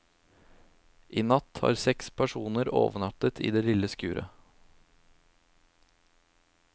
I natt har seks personer overnattet i det lille skuret.